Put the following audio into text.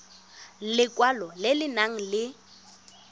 lekwalo le le nang le